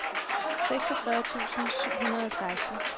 seksogfyrre tusind syv hundrede og seksten